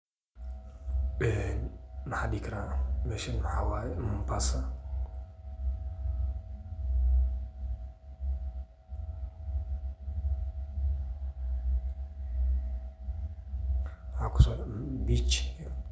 Ee maxaa dihi karaa meshan maxaa weye mombasa, waxaa kosoarki bich iyo.